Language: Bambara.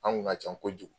An kun ka ca kojugu